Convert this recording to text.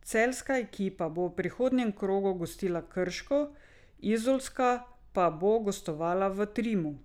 Celjska ekipa bo v prihodnjem krogu gostila Krško, izolska pa bo gostovala v Trimu.